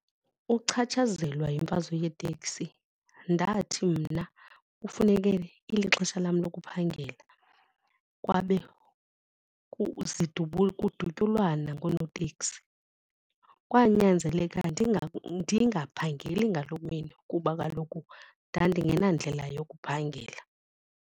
Ukuchatshazelwa yimfazwe yeetekisi ndathi mna kufuneke ilixesha lam lokuphangela kwabe kudutyulwana ngoonoteksi. Kwanyanzeleka ndingaphangeli ngaloo mini kuba kaloku ndandingenandlela yokuphangela.